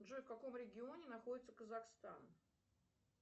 джой в каком регионе находится казахстан